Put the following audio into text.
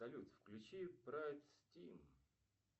салют включи прайд стим